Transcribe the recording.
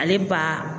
Ale ba